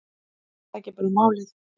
Er það ekki bara málið?